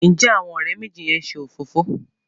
Njé Àwọn òré méjì yén ṣe òfófó?